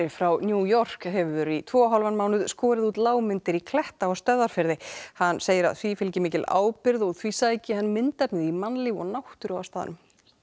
frá New York hefur í tvo og hálfan mánuð skorið út lágmyndir í kletta á Stöðvarfirði hann segir að því fylgi mikil ábyrgð og því sæki hann myndefnið í mannlíf og náttúru á staðnum